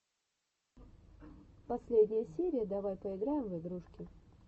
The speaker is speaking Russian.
последняя серия давай поиграем в игрушки